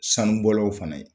Sanubɔlaw fana ye